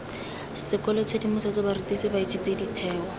sekolo tshedimosetso barutisi baithuti ditheo